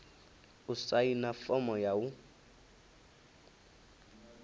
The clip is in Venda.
u saina fomo ya u